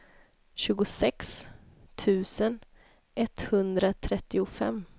tjugosex tusen etthundratrettiofem